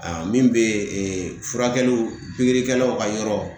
Aa min be ee furakɛliw pikirikɛlaw ka yɔrɔ